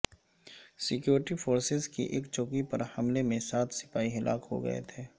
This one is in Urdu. سکیورٹی فورسز کی ایک چوکی پر حملے میں سات سپاہی ہلاک ہوگئے تھے